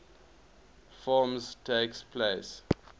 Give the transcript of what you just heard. forms takes place